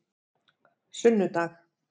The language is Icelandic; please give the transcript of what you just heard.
sunnudag